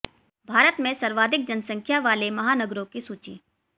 भारत में सर्वाधिक जनसंख्या वाले महानगरों की सूची